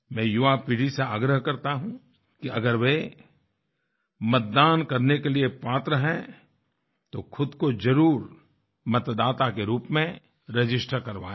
मैं युवापीढ़ी से आग्रह करता हूँ कि अगर वे मतदान करने के लिए पात्र हैं तो ख़ुद को ज़रूर मतदाता के रूप में रजिस्टर करवाएँ